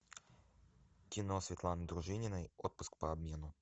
кино светланы дружининой отпуск по обмену